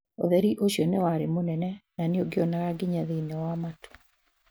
Utheri ucio nĩwari mũnene na nũngionaga nginya thĩini wa matu